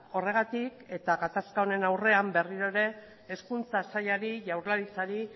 horregatik eta gatazka honen aurrean berriro ere hezkuntza sailari jaurlaritzari